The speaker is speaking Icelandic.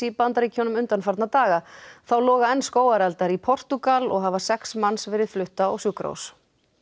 Bandaríkjunum undanfarna daga þá loga enn skógareldar í Portúgal og hafa sex manns verið flutt á sjúkrahús